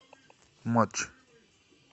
матч